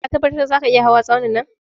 Ka tabbatar zaka iya hawa Tsaunin?